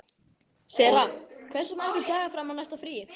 Sera, hversu margir dagar fram að næsta fríi?